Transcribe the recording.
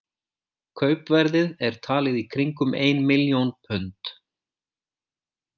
Kaupverðið er talið í kringum ein milljón pund.